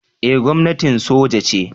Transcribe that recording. Eh gwamnatin soja ce